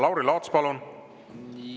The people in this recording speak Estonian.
Lauri Laats, palun!